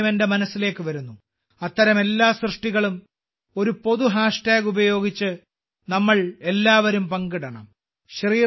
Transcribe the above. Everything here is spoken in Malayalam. ഒരു കാര്യം എന്റെ മനസ്സിലേക്ക് വരുന്നു അത്തരം എല്ലാ സൃഷ്ടികളും ഒരു പൊതു ഹാഷ് ടാഗ് ഉപയോഗിച്ച് നമ്മൾ എല്ലാവരും പങ്കിടണം